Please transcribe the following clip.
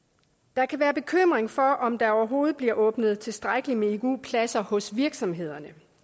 der kan være bekymring for om der overhovedet bliver åbnet tilstrækkeligt med igu pladser hos virksomhederne